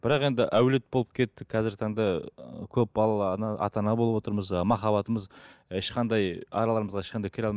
бірақ енді әулет болып кеттік қазіргі таңдап ы көпбалалы ана ата ана болып отырмыз ы махаббатымыз ешқандай араларымызға ешқандай кіре